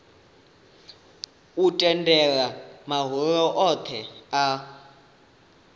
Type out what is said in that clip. u tendela mahoro othe a